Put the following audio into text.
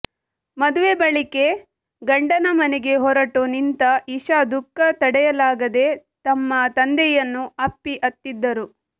ಮದುವೆ ಬಳಿಕೆ ಗಂಡನ ಮನೆಗೆ ಹೊರಟು ನಿಂತ ಇಶಾ ದುಃಖ ತಡೆಯಲಾಗದೆ ತಮ್ಮ ತಂದೆಯನ್ನು ಅಪ್ಪಿ ಅತ್ತಿದ್ದರು